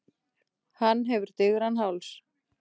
Hann hefur digran háls.